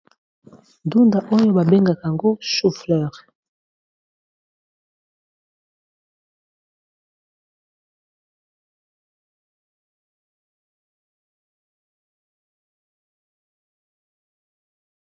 Ndunda oyo babengaka ngo chouffleur.